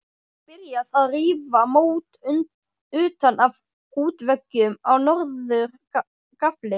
Byrjað að rífa mót utan af útveggjum á norður gafli.